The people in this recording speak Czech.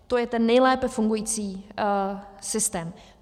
To je ten nejlépe fungující systém.